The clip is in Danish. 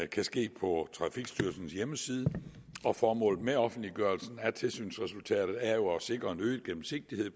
kan ske på trafikstyrelsens hjemmeside og formålet med offentliggørelsen af tilsynsresultatet er jo at sikre en øget gennemsigtighed